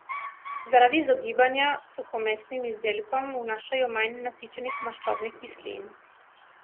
Zaradi izogibanja suhomesnim izdelkom vnašajo manj nasičenih maščobnih kislin.